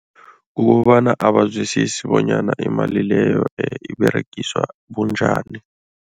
Kukobana abazwisisi bonyana imali leyo iberegiswa bunjani.